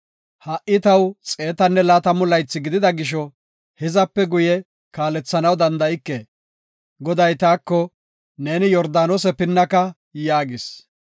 “Ha77i taw xeetanne laatamu laythi gidida gisho, hizape guye kaalethanaw danda7ike. Goday taako, ‘Ne Yordaanose pinnaka’ yaagis.